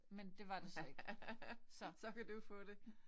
Men det var det så ikke så